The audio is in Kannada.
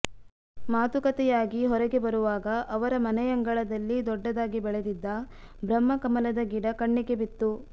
ಮಾತುಕತೆಯಾಗಿ ಹೊರಗೆ ಬರುವಾಗ ಅವರ ಮನೆಯಂಗಳದಲ್ಲಿ ದೊಡ್ಡದಾಗಿ ಬೆಳೆದಿದ್ದ ಬ್ರಹ್ಮಕಮಲ ದ ಗಿಡ ಕಣ್ಣಿಗೆ ಬಿತ್ತು